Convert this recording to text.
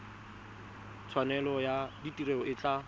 tshwanelo ya tiro e tla